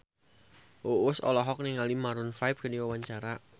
Uus olohok ningali Maroon 5 keur diwawancara